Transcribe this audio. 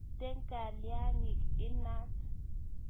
mito kalyangik inaat